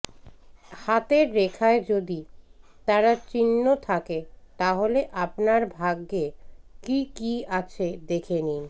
হাতের রেখায় যদি তারা চিহ্ন থাকে তাহলে আপনার ভাগ্যে কী কী আছে দেখে নিন